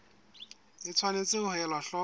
o tshwanetse ho ela hloko